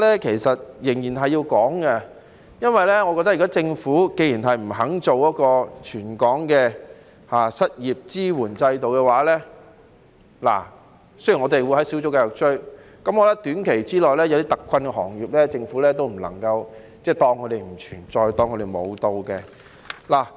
但是，我認為仍然是有需要討論的，縱使政府不肯推行全港的失業支援制度——雖然我們會在小組委員會繼續"追"——但短期內，對於一些特困行業，政府也不能夠當他們不存在、當他們"無到"的。